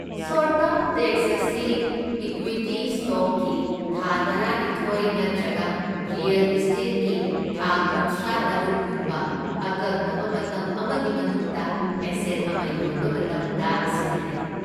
Short ꯇ꯭ꯔꯝꯗ tax ꯑꯁꯤ equity ꯁ꯭ꯇꯣꯛꯀꯤ ꯊꯥ ꯇꯔꯥꯅꯤꯊꯣꯢ ꯅꯠꯇ꯭ꯔꯒ ꯔꯤꯑꯦꯜ ꯑꯦꯁꯇꯦꯠꯀꯤ ꯊꯥ ꯀꯨꯟꯊ꯭ꯔꯥꯇꯔꯨꯛ ꯀꯨꯝꯕ ꯑꯀꯛꯅꯕ ꯃꯇꯝ ꯑꯃꯒꯤ ꯃꯅꯨꯡꯗ ꯑꯦꯁꯦꯠ ꯑꯃ ꯌꯣꯟꯕ ꯃꯇꯝꯗ ꯁꯤꯖꯤꯟꯅꯩ꯫